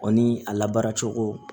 O ni a labara cogo